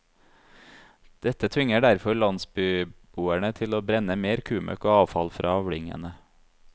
Dette tvinger derfor landsbyboerne til å brenne mer kumøkk og avfall fra avlingene.